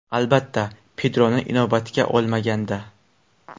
Albatta, Pedroni inobatga olmaganda.